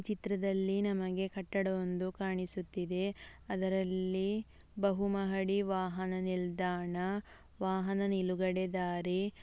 ಈ ಚಿತ್ರದಲ್ಲಿ ನಮಿಗೆ ಕಟ್ಟಡ ಒಂದು ಕಾಣಿಸುತ್ತಿದೆ ಅದರಲ್ಲಿ ಬಹುಮಹಡಿ ವಾಹನ ನಿಲ್ದಾಣ ವಾಹನ ನಿಲುಗಡೆ ದಾರಿ --